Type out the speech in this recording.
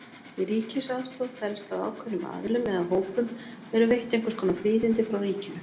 Í ríkisaðstoð felst að ákveðnum aðilum eða hópum eru veitt einhvers konar fríðindi frá ríkinu.